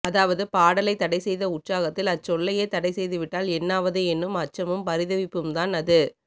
அதாவது பாடலை தடைசெய்த உற்சாகத்தில் அச்சொல்லையே தடைசெய்துவிட்டால் என்னாவது என்னும் அச்சமும் பரிதவிப்பும்தான் அது